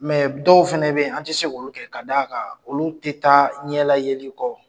Mɛ dɔw fana bɛ an tɛ se olu kɛ k'a d'a kan olu tɛ taa ɲɛlayeli kɔ.